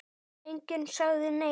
Enginn sagði neitt.